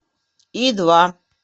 и два